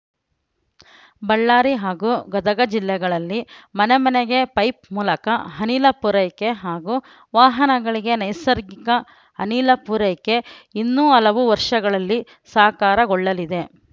ಬಳ್ಳಾರಿ ಹಾಗೂ ಗದಗ ಜಿಲ್ಲೆಗಳಲ್ಲಿ ಮನೆಮನೆಗೆ ಪೈಪ್‌ ಮೂಲಕ ಅನಿಲ ಪೂರೈಕೆ ಹಾಗೂ ವಾಹನಗಳಿಗೆ ನೈಸರ್ಗಿಕ ಅನಿಲ ಪೂರೈಕೆ ಇನ್ನು ಹಲವು ವರ್ಷಗಳಲ್ಲಿ ಸಾಕಾರಗೊಳ್ಳಲಿದೆ